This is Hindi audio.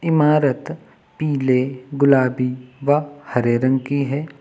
इमारत पीले गुलाबी व हरे रंग की है।